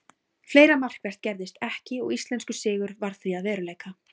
Fleira markvert gerðist ekki og íslenskur sigur varð því að veruleika.